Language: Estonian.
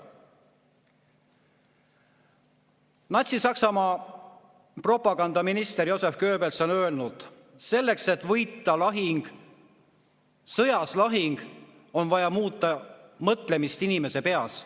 Natsi-Saksamaa propagandaminister Joseph Goebbels on öelnud: selleks, et võita sõjas lahing, on vaja muuta mõtlemist inimese peas.